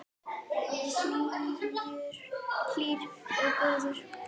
Hlýr og góður.